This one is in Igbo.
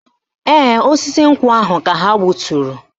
Ee, osisi nkwụ ahụ ka ha gbuturu